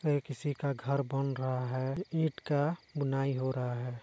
ये किसी का घर बन रहा है ईंट का बुनाई हो रहा है।